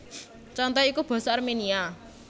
Contoné iku basa Arménia